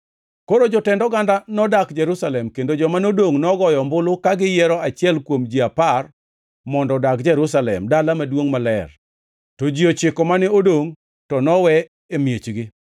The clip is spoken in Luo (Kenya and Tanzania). Koro jotend oganda nodak Jerusalem, kendo joma nodongʼ nogoyo ombulu ka giyiero achiel kuom ji apar mondo odag Jerusalem, dala maduongʼ maler, to ji ochiko mane odongʼ, to nowe e miechgi.